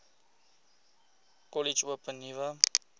kollege open nuwe